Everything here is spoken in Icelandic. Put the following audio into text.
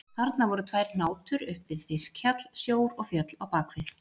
Þarna voru tvær hnátur upp við fiskhjall, sjór og fjöll á bak við.